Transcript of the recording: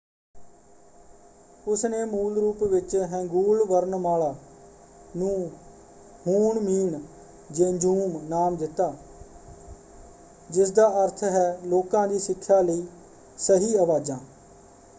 ਉਸਨੇ ਮੂਲ ਰੂਪ ਵਿੱਚ ਹੈਂਗੂਲ ਵਰਨਮਾਲਾ ਨੂੰ ਹੂਨਮੀਨ ਜੇਂਜੁਮ ਨਾਮ ਦਿੱਤਾ ਜਿਸਦਾ ਅਰਥ ਹੈ ਲੋਕਾਂ ਦੀ ਸਿੱਖਿਆ ਲਈ ਸਹੀ ਆਵਾਜ਼ਾਂ"।